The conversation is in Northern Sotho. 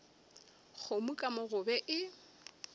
kgomo ka mo gobe e